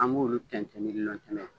An b'olu tɛntɛn ni nilɔn tɛmɛn ye.